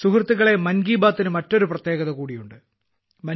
സുഹൃത്തുക്കളേ മൻ കി ബാത്തിന് മറ്റൊരു പ്രത്യേകത കൂടിയുണ്ട്